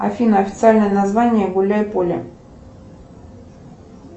афина официальное название гуляй поле